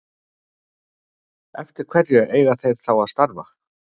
Eftir hverju eiga þeir þá að starfa?